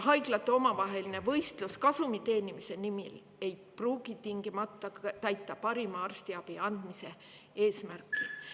Haiglate omavaheline võistlus kasumi teenimise nimel ei pruugi tingimata täita parima arstiabi andmise eesmärki.